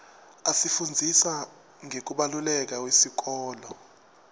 asifundzisa ngekubaluleka iwesikolo